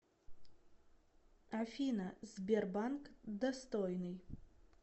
афина сбербанк достойный